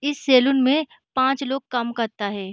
इस सैलून में पाँच लोग काम करता है।